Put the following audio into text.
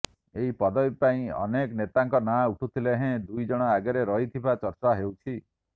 ଏହି ପଦବୀ ପାଇଁ ଅନେକ ନେତାଙ୍କ ନାଁ ଉଠୁଥିଲେ ହେଁ ଦୁଇ ଜଣ ଆଗରେ ରହିଥିବା ଚର୍ଚ୍ଚା ହେଉଛି